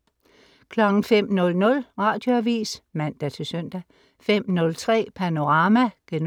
05.00 Radioavis (man-søn) 05.03 Panorama* 05.18